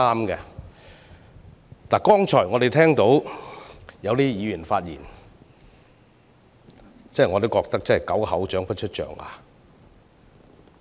我們剛才聽到一些議員的發言，可謂"狗口長不出象牙"。